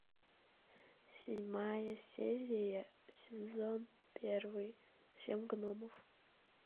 седьмая серия сезон первый семь гномов